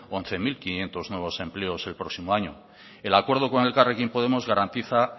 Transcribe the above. once mil quinientos nuevos empleos el próximo año el acuerdo con elkarrekin podemos garantiza